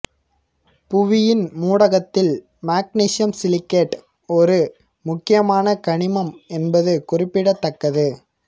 புவியின் மூடகத்தில் magnesium silicate ஒரு முக்கியமான கனிமம் என்பது குறிப்பிடத் தக்கது